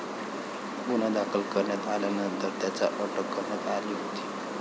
गुन्हा दाखल करण्यात आल्यानंतर त्याला अटक करण्यात आली होती.